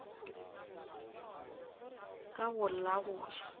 ka go la go ja